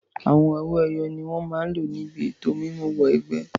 Àwọn owó ẹyọ ni wọn máa lò níbi ètò mímú wọ ẹgbẹ́.